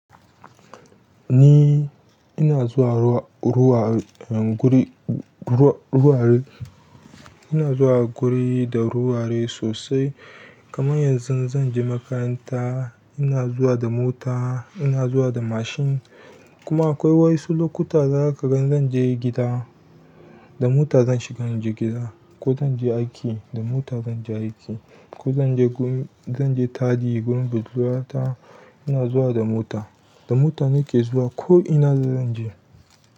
Ni ina zuwa ruwa guri, ina zuwa guri da ruware sosai. Kamar yanzu zan je makaranta ina zuwa da mota, ina zuwa da mashin. Kuma akwai wasu lokuta za ka gan zan je gida, da mota zan shiga in je gida. Ko zan je aiki, da mota zan je aiki. Ko zan je gun, zan je taɗi gun budurwata ina zuwa da mota. Da mota nake zuwa ko ina zan je.